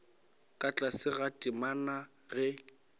ka tlase ga temana ge